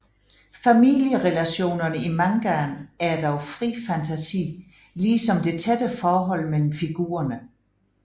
Familierelationerne i mangaen er dog fri fantasi ligesom det tætte forhold mellem figurerne